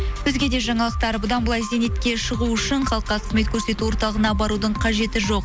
өзге де жаңалықтар бұдан былай зейнетке шығу үшін халыққа қызмет көрсету орталығына барудың қажеті жоқ